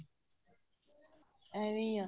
ਐਵੇਂ ਹੀ ਆ